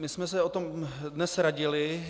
My jsme se o tom dnes radili.